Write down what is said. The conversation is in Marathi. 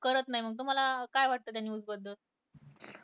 करत नाही मग तुम्हाला काय वाटतं त्या news बद्दल